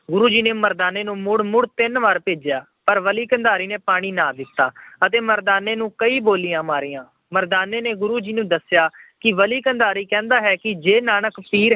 ਗੁਰੂ ਜੀ ਮੁੜ-ਮੁੜ ਤਿੰਨ ਵਾਰ ਭੇਜਿਆ ਪਰ ਬਲੀ ਕੰਧਾਰੀ ਨੇ ਪਾਣੀ ਨਾ ਦਿੱਤਾ ਅਤੇ ਮਰਦਾਨੇ ਨੂੰ ਕਈ ਬੋਲੀਆਂ ਮਾਰੀਆਂ। ਮਰਦਾਨੇ ਨੇ ਗੁਰੂ ਨਾਨਕ ਨੂੰ ਦੱਸਿਆ ਕਿ ਬਲੀ ਕੰਧਾਰੀ ਕਹਿੰਦਾ ਹੈ ਕਿ ਜੇ ਨਾਨਕ ਪੀਰ